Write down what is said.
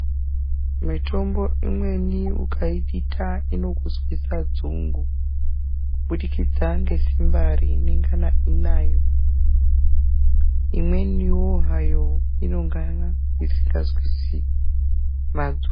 Mitombo imweni ukaidita inokuzwise dzungu kuburikidza nesimba reinenga inayo. Imweniwo hayo inonga isingazwisi madzungu.